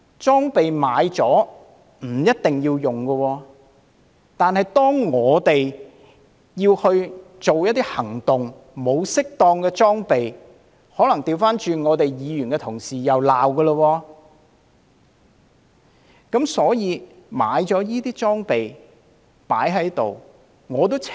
購買了裝備，不一定要使用，但當警方要作出一些行動而沒有適當裝備，可能議員同事又會反過來予以批評。